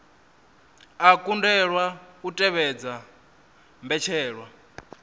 a kundelwa u tevhedza mbetshelwa